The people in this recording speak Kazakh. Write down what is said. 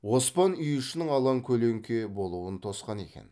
оспан үй ішінің алан көлеңке болуын тосқан екен